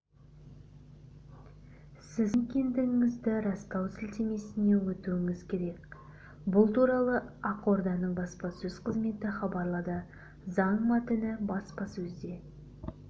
сіз кім екендігіңізді растау сілтемесіне өтуіңіз керек бұл туралы ақорданың баспасөз қызметі хабарлады заң мәтіні баспасөзде